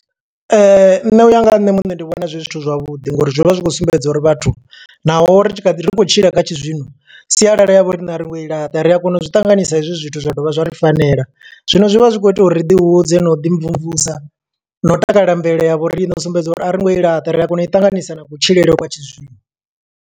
Nṋe uya nga ha nṋe muṋe ndi vhona zwi zwithu zwavhuḓi, ngo uri zwi vha zwi khou sumbedza uri vhathu naho ri tshi ri khou tshila kha tshi zwino. Sialala ya vho riṋe a ri ngo i laṱa, ri a kona u zwi ṱanganisa hezwi zwithu zwa dovha zwa ri fanela. Zwino zwi vha zwi khou ita uri ri ḓi hudze na u ḓi mvumvusa, na u takalela mvelele ya vho rine. U sumbedza uri a ringo i laṱa, ri a kona u i ṱanganisa na kutshilele kwa tshi zwino.